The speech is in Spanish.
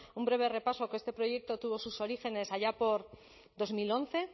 una un breve repaso que este proyecto tuvo sus orígenes allá por dos mil once